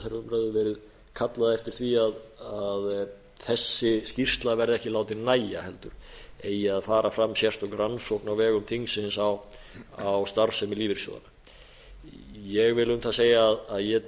verið kallað eftir því að þessi skýrsla verði ekki látin nægja heldur eigi að fara fram sérstök rannsókn á vegum þingsins á starfsemi lífeyrissjóðanna ég vil um það segja að ég